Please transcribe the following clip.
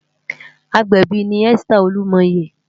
Ágbèbi ni Esther Olumoye